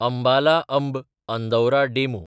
Ambala-Amb Andaura DEMU